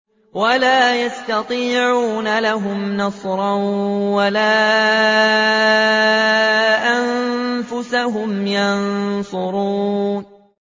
وَلَا يَسْتَطِيعُونَ لَهُمْ نَصْرًا وَلَا أَنفُسَهُمْ يَنصُرُونَ